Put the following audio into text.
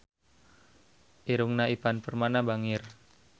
Irungna Ivan Permana bangir